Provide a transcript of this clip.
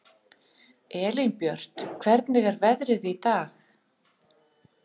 Elínbjört, hvernig er veðrið í dag?